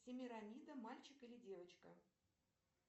семирамида мальчик или девочка